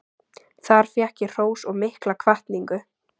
Þar fékk ég hrós og mikla hvatningu.